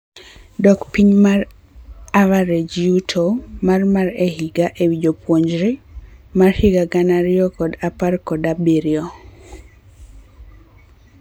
Dok piny mar average yuto mar mar higa ewii japuonjre (PPP mar higa gana ariyo kod apar kod abirio)